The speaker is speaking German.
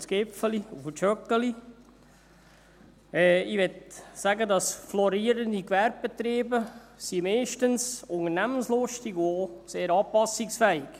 Ich möchte sagen, florierende Gewerbebetriebe sind meistens unternehmenslustig und auch sehr anpassungsfähig.